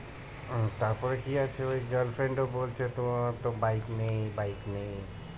তারপরে কি আছে ওই girlfriend ও বলছে তোমার তো bike নেই bike নেই